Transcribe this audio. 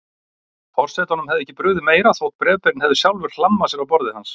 Forsetanum hefði ekki brugðið meira þótt bréfberinn hefði sjálfur hlammað sér á borðið hans.